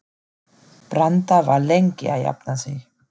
Branda var lengi að jafna sig.